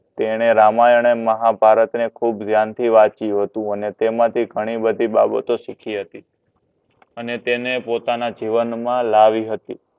તેને રામાયણ અને મહાભારત ખૂબ ધ્યાનથી વાંચ્યું હતું તેમાથી ઘણી બધી બાબતો શીખી હતી અને તેનેપોતાના જીવનમાં લાવી હતી